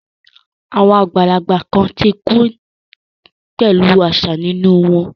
Àwọn àgbàlagbà kan ti kú pẹ̀lú àṣà nínú wọn